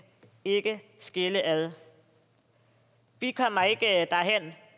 ikke skille ad vi kommer ikke derhen